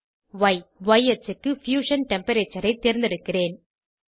Y ய் அச்சுக்கு fusion temperature ஐ தேர்ந்தெடுக்கிறேன்